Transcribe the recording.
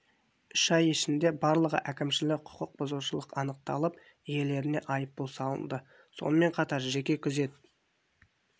үш ай ішінде барлығы әкімшілік құқық бұзушылық анықталып иелеріне айыппұл салынды сонымен қатар жеке күзет